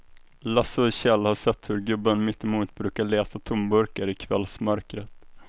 Lasse och Kjell har sett hur gubben mittemot brukar leta tomburkar i kvällsmörkret.